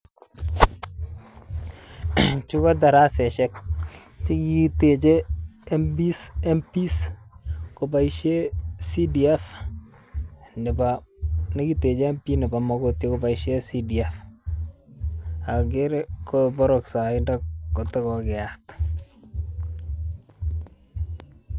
Chu ko tarasaisiek chegiteche Mps Mps koboisien cdf nebo negiteche Mp nebo Mogotio koboisien cdf okere koboroksoindo kotokokeyat .